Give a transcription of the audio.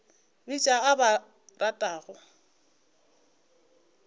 bitša ba o ba ratago